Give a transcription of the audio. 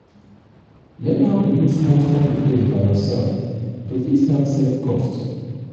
learn how to do small small repair by yourself to fit help save cost